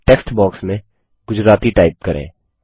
text box में Gujarati type करें